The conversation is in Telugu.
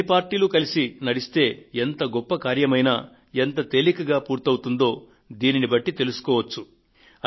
అన్ని పార్టీలు కలసి నడిస్తే ఎంత గొప్ప కార్యమైనా ఎంత తేలికగా పూర్తవుతుందో దీనిని బట్టి తెలుస్తోంది